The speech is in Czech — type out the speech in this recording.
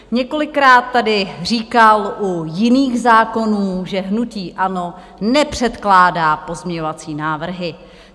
Několikrát tady říkal u jiných zákonů, že hnutí ANO nepředkládá pozměňovací návrhy.